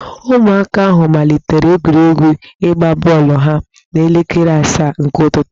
Ụmụaka ahụ malitere egwuregwu ịgba bọọlụ ha n'elekere asaa nke ụtụtụ.